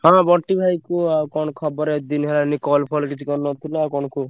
ହଁ ବଣ୍ଟି ଭାଇ କୁହ ଆଉ କଣ ଖବର ଏତେ ଦିନି ହେଲାଣି call ଫଲ କିଛି କରିନଥିଲ ଆଉ କଣ କୁହ।